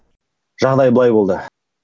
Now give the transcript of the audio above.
жағдай былай болды